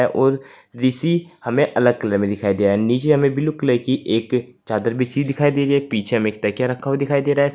और जिसी हमें अलग कलर में दिखाई दे रहा है नीचे हमें ब्लू कलर की एक चादर बिछी दिखाई दी गई पीछे हमें एक तकिया रखा हुआ दिखाई दे रहा है।